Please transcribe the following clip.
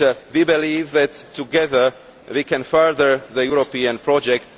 We believe that together, we can further the European project.